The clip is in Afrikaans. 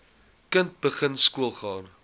kind begin skoolgaan